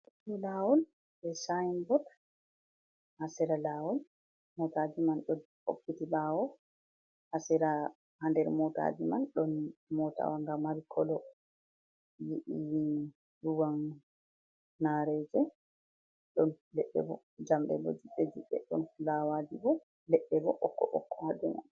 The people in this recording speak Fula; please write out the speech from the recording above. Ɗo lawol ɗo Sayin bot ha Sera lawol, motaji man ɗo hokkiti ɓawo. Ha sera ha nder motaji man ɗon motawa nga Mari koloo ruwan nareje. Ɗon ledɗebo jamɗee bo judɗe judɗee, ɗon fulawaji bo ledɗebo ɓokko ɓokko ha dou mai.